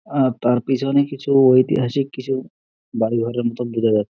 আর তার পিছনে কিছু ঐতিহাসিক কিছু বাড়ি ঘরের মতন বোঝা যা--